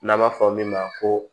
N'an b'a fɔ min ma ko